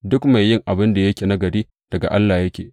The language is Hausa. Duk mai yin abin da yake nagari daga Allah yake.